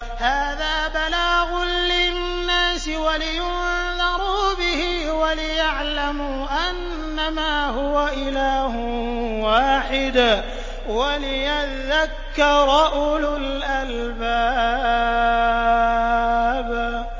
هَٰذَا بَلَاغٌ لِّلنَّاسِ وَلِيُنذَرُوا بِهِ وَلِيَعْلَمُوا أَنَّمَا هُوَ إِلَٰهٌ وَاحِدٌ وَلِيَذَّكَّرَ أُولُو الْأَلْبَابِ